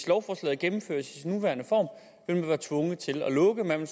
lovforslaget gennemføres i sin nuværende form man ville være tvunget til at lukke man